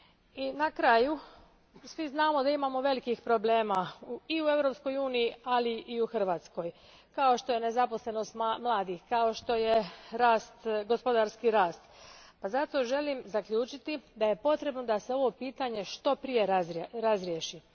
I na kraju, svi znamo da imamo velikih problema i u Europskoj uniji, ali i u Hrvatskoj, kao što je nezaposlenost mladih, kao što je gospodarski rast, pa zato želim zaključiti da je potrebno da se ovo pitanje što prije razriješi.